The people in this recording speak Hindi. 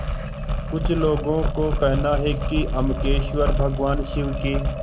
कुछ लोगों को कहना है कि अम्बकेश्वर भगवान शिव के